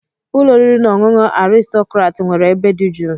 Ụlọ oriri na ọṅụṅụ Aristocrat nwere ebe dị jụụ.